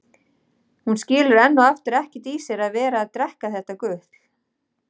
Hún skilur enn og aftur ekkert í sér að vera að drekka þetta gutl.